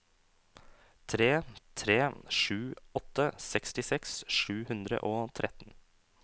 tre tre sju åtte sekstiseks sju hundre og tretten